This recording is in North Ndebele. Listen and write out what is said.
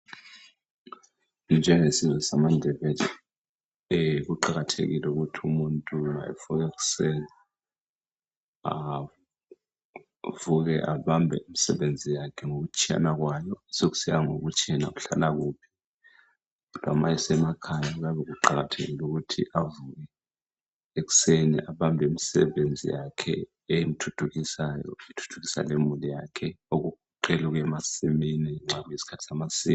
Njengesizwe samaNdebele, kuqakathekile ukuthi umuntu nxa avuka ekuseni. Avuke abambe imisebenzi yakhe, ngokutshiyana kwayo. Sekusiya ngokuthi yena uhlalakuphi, kodwa ma esemakhaya, kuyabe kuqakathekile ukuthi avuke ekuseni. Abambe imisebenzi yakhe emthuthukisayo. Emthuthukisa lemuli yakhe. Okugoqela ukuya emasimini, nxa kuyisikhathi samasimu.